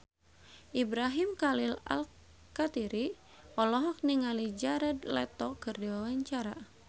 Ibrahim Khalil Alkatiri olohok ningali Jared Leto keur diwawancara